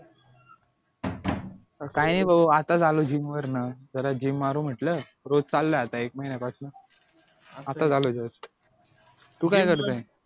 काय नाही बाबा आत्ताच आलो gym वर्ण जरा gym मारू म्हटलं रोज चाललय आता एक महिन्यापासन आत्ताच आलोय जस्ट तू काय करतोय